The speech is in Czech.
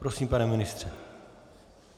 Prosím, pane ministře.